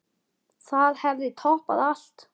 Það hefði toppað allt.